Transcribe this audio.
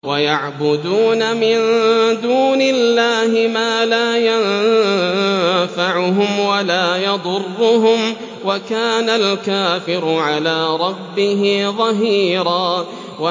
وَيَعْبُدُونَ مِن دُونِ اللَّهِ مَا لَا يَنفَعُهُمْ وَلَا يَضُرُّهُمْ ۗ وَكَانَ الْكَافِرُ عَلَىٰ رَبِّهِ ظَهِيرًا